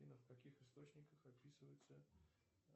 афина в каких источниках описываются